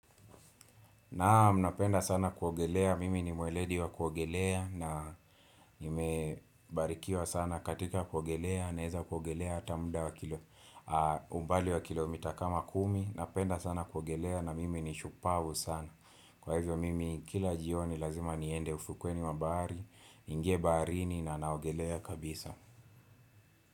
Naam napenda sana kuogelea, mimi ni mweledi wa kuogelea na nime barikiwa sana katika kuogelea na naweza kuogelea hata muda wa kile umbali wa kilomita kama kumi Napenda sana kuogelea na mimi ni shupavu sana Kwa hivyo mimi kila jioni lazima niende ufukweni bahari, ningie baharini na naogelea kabisa.